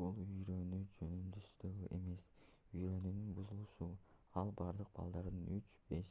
бул үйрөнүү жөндөмсүздүгү эмес үйрөнүүнүн бузулушу ал бардык балдардын 3-5